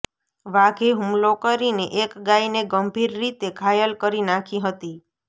વાઘે હુમલો કરીને એક ગાયને ગંભીર રીતે ઘાયલ કરી નાંખી હતી